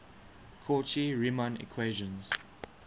cauchy riemann equations